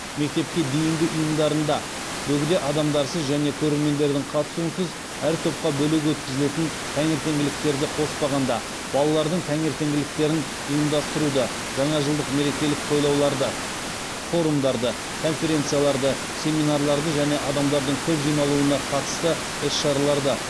форумдарды конференцияларды семинарларды және адамдардың көп жиналуына қатысты іс шараларды